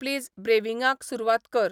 please ब्रेविंगाक सुरवात कर